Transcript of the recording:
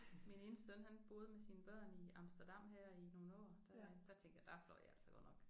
Min ene søn han boede med sine børn i Amsterdam her i nogle år der øh der tænkte jeg der fløj jeg altså godt nok